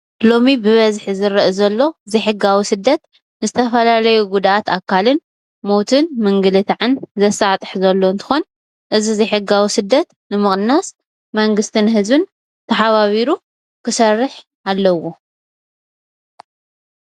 ሎሚ ብበዝሒ ዝርእ ዘሎ ዘይ ሕጋዊ ስደት ዝተፍላላዩ ጉዳኣት ኣካልን ሞትን ምንግልታዕን ዘሳጥሕ ዘሎ እንትኮን እዚ ዘይሕጋዊ ስደት ንምቅናስ መንግስትን ህዝብን ተሓባቢሩ ክሰርሕ ኣለዎ።